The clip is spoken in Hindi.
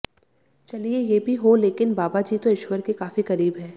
चलिए ये भी हो लेकिन बाबा जी तो ईश्वर के काफी करीब हैं